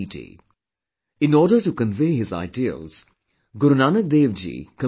In order to convey his ideals, Guru Nanak Dev ji composed the Gurbani